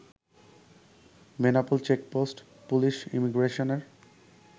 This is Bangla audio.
বেনাপোল চেকপোস্ট পুলিশ ইমিগ্রেশনের